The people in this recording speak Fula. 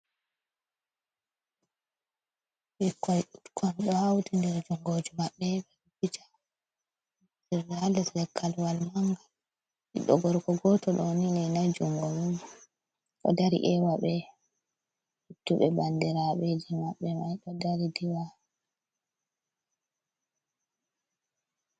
ikai utkon ɗo hauti nder jungoji maɓɓe ɓe ɓica jernaldes lekalwal manga biɗɗo gorko goto ɗo nini nai jungo nimo ɗo dari ewa ɓe duttuɓe bandirabeje mabbe mai ɗo dari diwa.